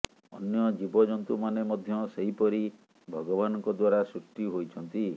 ଅନ୍ୟ ଜୀବଜନ୍ତୁମାନେ ମଧ୍ୟ ସେହିପରି ଭଗବାନଙ୍କ ଦ୍ୱାରା ସୃଷ୍ଟି ହୋଇଛନ୍ତି